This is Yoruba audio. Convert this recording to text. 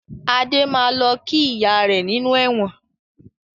Adé máa lọ kí ìyá rẹ nínú ẹ̀wọ̀n